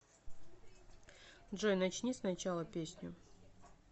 джой начни с начала песню